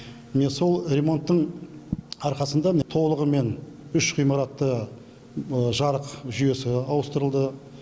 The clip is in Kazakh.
міне сол ремонттың арқасында міне толығымен үш ғимаратта жарық жүйесі ауыстырылды